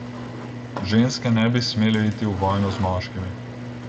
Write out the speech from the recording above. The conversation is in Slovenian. Ženske ne bi smele iti v vojno z moškimi.